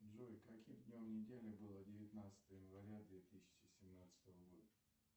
джой каким днем недели было девятнадцатое января две тысячи семнадцатого года